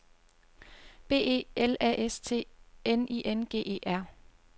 B E L A S T N I N G E R